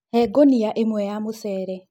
He gunia ĩmwe ya mũcere